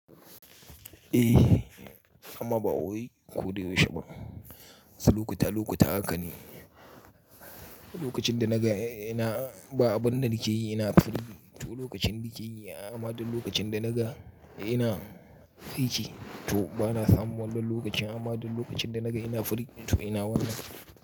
Eh amma ba wai ko da yaushe ba. Sai lokuta lokuta haka ne, lokacin da naga ina ba abun da nike yi ina fari, to lokacin nike yi amma dan lokacin da naga ina aiki to bana samun wannan lokacin amma duk lokacin da naga ina free to ina wannan.